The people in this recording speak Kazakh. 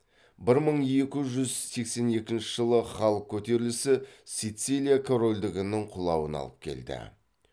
бір мың екі жүз сексен екінші жылы халық көтерілісі сицилия корольдігінің құлауына алып келді